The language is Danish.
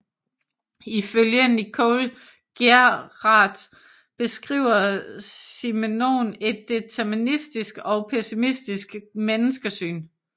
Ifølge Nicole Geeraert beskriver Simenon et deterministisk og pessimistisk menneskesyn